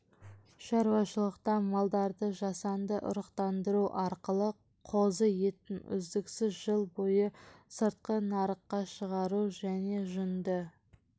шаруашылықта малдарды жасанды ұрықтандыру арқылы қозы етін үздіксіз жыл бойы сыртқы нарыққа шығару және жүнді